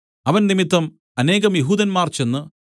അവൻ നിമിത്തം അനേകം യെഹൂദന്മാർ ചെന്ന്